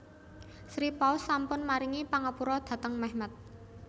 Sri Paus sampun maringi pangapura dhateng Mehmet